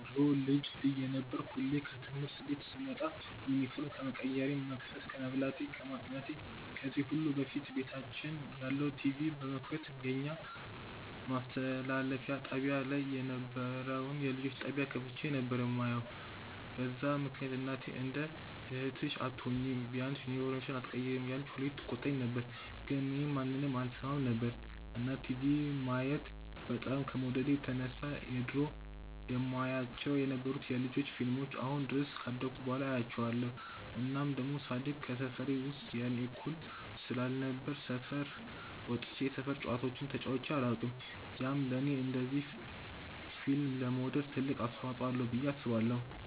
ድሮ ልጅ እየነበርኩ ሁሌ ከትምህርት ቤት ስመጣ ዩኒፎርም ከመቀየሬ፣ መቅሰስ ከመብላቴ፣ ከማጥናቴ ከዚህ ሁሉ በፊት ቤታችን ያለውን ቲቪ በመክፈት የኛ ማስተላለፊያ ጣብያ ላይ የነበረውን የልጆች ጣብያ ከፍቼ ነበር የማየው፤ በዛ ምክንያት እናቴ እንደ እህትሽ አትሆኚም፤ ቢያንስ ዩኒፎርምሽን ኣትቀይሪም እያለች ሁሌ ትቆጣኝ ነበር ግን እኔ ማንንም አልሰማም ነበር። እና ቲቪ ማየት በጣም ከመውደዴ የተነሳ የድሮ የማያቸው የነበሩትን የ ልጆች ፊልሞችን አሁን ድረስ ካደኩ በኋላ አያቸዋለው። እናም ደሞ ሳድግ ከሰፈሬ ውስጥ የኔ እኩያ ስላልነበረ ሰፈር ወጥቼ የሰፈር ጨዋታዎችን ተጫዉቼ ኣላውቅም፤ ያም ለኔ እንደዚ ፊልም ለመውደድ ትልቅ አስተዋፅዎ አለው ብዬ አስባለው።